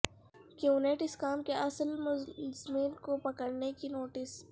QNet scam کے اصل ملزمین کو پکڑنے کی نوٹس